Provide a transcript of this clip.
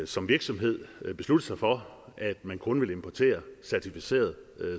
som virksomhed kan beslutte sig for at man kun vil importere certificeret